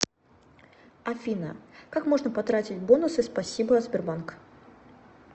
афина как можно потратить бонусы спасибо сбербанк